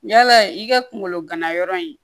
Yala i ka kungolo ganayɔrɔ in